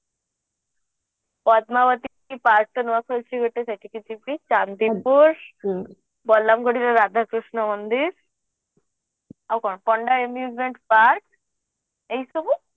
Padmavati park ତା ନୂଆ ଖୋଲିଛି ଗୋଟେ ସେଠିକି ଯିବୀ ଚାନ୍ଦିପୁର ବଲାଙ୍ଗୁଡିର ରାଧାକୃଷ୍ଣ ମନ୍ଦିର ଆଉ କଣ ପଣ୍ଡା park ଏଇସବୁ